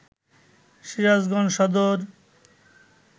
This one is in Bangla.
সিরাজগঞ্জ সদর